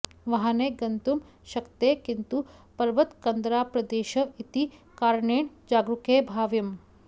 वाहनैः गन्तुं शक्यते किन्तु पर्वतकन्दराप्रदेशः इति कारणेन जागरूकैः भाव्यम्